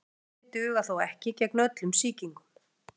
Þessi mótefni duga þó ekki gegn öllum sýkingum.